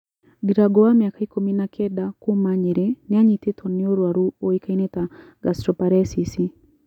Ndirango wa miaka ikũmi na kenda kuuma Nyerĩ nĩanyitetwo nĩ ũrũaru ũĩkainĩ ta gastroparesisi